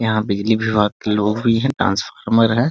यहाँ बिजली विभाग के लोग भी हैं | ट्रांसफरमर है ।